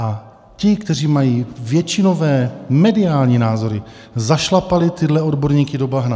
A ti, kteří mají většinové mediální názory, zašlapali tyhle odborníky do bahna.